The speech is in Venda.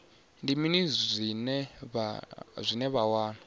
ndi mini zwine vha wana